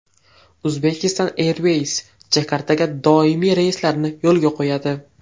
Uzbekistan Airways Jakartaga doimiy reyslarni yo‘lga qo‘yadi.